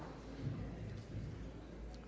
der